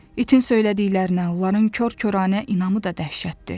İtin söylədiklərinə, onların kor-koranə inamı da dəhşətdir.